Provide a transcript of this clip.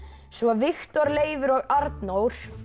svo Viktor Leifur og Arnór